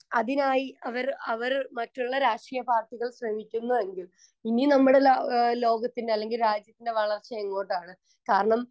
Speaker 1 അതിനായി അവര് അവര് മറ്റുള്ള രാഷ്ട്രീയ പാർട്ടികൾ ശ്രമിക്കുന്നുവെങ്കിൽ ഇനി നമ്മളില ആഹ് ലോകത്തിൻ്റെ അല്ലെങ്കി രാജ്യത്തിൻ്റെ വളർച്ചയെങ്ങോട്ടാണ്? കാരണം